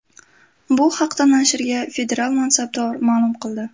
Bu haqda nashrga federal mansabdor ma’lum qildi.